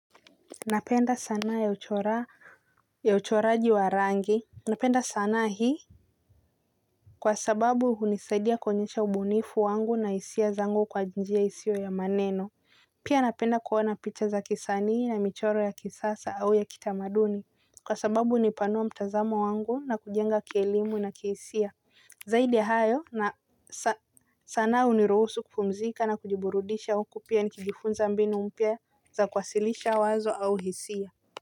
Napenda sanaa ya uchoraji wa rangi. Napenda sanaa hii kwa sababu hunisaidia kuonyesha ubunifu wangu na hisia zangu kwa njia isio ya maneno. Pia napenda kuona picha za kisanii na michoro ya kisasa au ya kitamaduni kwa sababu unipanua mtazamo wangu na kujenga kielimu na kihisia. Zaidi ya hayo na sanaa uniruhusu kupumzika na kujiburudisha huku pia nikijifunza mbinu mpya za kwasilisha wazo au hisia.